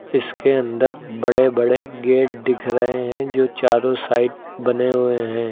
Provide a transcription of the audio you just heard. इसके अंदर बड़े बड़े गेट दिख रहे हैं जो चारो साइड बने हुए हैं।